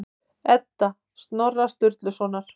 Edda Snorra Sturlusonar.